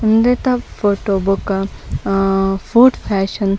ಉಂದೆತ ಫೊಟೊ ಬೊಕ ಆ ಫೋಡ್ತ್ ಫ್ಯಾಷನ್ .